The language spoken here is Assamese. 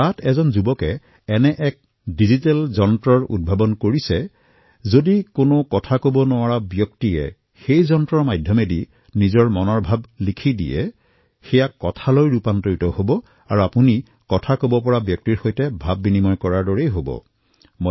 তাত এজন যুৱকে এনেকুৱা এটা ডিজিটেল ইনষ্ট্ৰুমেণ্ট উত্তৰণ কৰিছিল যত কোনোবাই কথা কব নোৱাৰি তাত লিখিলে সেয়া শব্দলৈ পৰিৱৰ্তিত হৈ যায় আৰু আপুনি কাৰোবাৰ সৈতে কথা পতা ধৰণে ইয়াৰ জৰিয়তে কথা পাতিব পাৰে